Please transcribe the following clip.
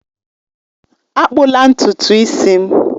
Akpụla ntutu isi m!